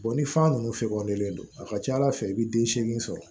ni san ninnu fɛkɔnnen don a ka ca ala fɛ i bɛ den seegin sɔrɔ